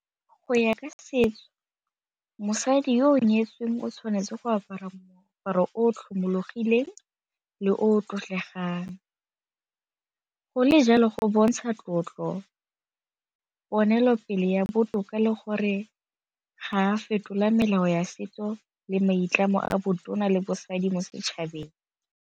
Go ya ka setso mosadi yo o nyetsweng o tshwanetse go apara moaparo o tlhomologileng le o tlotlegang, go le jalo go bontsha tlotlo, diponelopele ya botoka le gore ga a fetola melao ya setso le maitlamo a botona le bosadi mo setšhabeng.